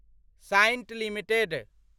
Cyient limited